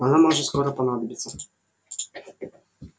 она может скоро понадобиться